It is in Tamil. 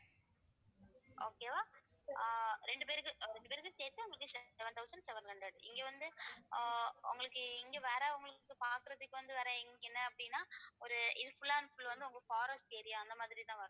okay வா ஆஹ் இரண்டு பேருக்கும் அஹ் இரண்டு பேருக்கும் சேர்த்து உங்களுக்கு seven thousand seven hundred இங்க வந்து ஆஹ் உங்களுக்கு இங்க வரவங்களுக்கு பாக்குறதுக்கு வந்து என்ன அப்படின்னா ஒரு இது full and full forest area அந்த மாதிரிதான் வரும்